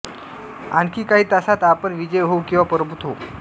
आणखी काही तासांत आपण विजयी होऊ किंवा पराभूत होऊ